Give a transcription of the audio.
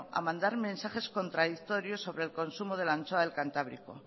a mandar mensajes contradictorios sobre el consumo de la anchoa del cantábrico